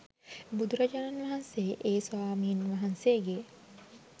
බුදු රජාණන් වහන්සේ ඒ ස්වාමීන් වහන්සේගේ